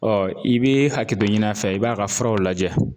Ɔ i bɛ hakɛ tɔ ɲini a fɛ, i bɛ a ka furaw lajɛ.